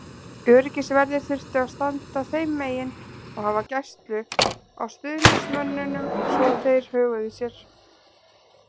Öryggisverðir þurftu að standa þeim megin og hafa gæslu á stuðningsmönnunum svo þeir höguðu sér.